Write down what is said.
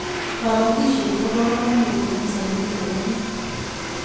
kabatishet kobo kamagut eng sabet nebo bik